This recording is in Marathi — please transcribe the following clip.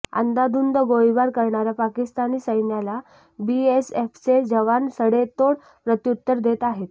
अंदाधुंद गोळीबार करणाऱ्या पाकिस्तानी सैन्याला बीएसएफचे जवान सडेतोड प्रत्युत्तर देत आहेत